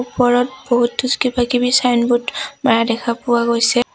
ওপৰত বহুতো কিবাকিবি চাইনব'ৰ্ড মাৰা দেখা পোৱা গৈছে।